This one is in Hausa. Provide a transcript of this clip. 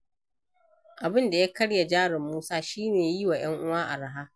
Abin da ya karya jarin Musa shi ne yi wa ‘yan uwa araha.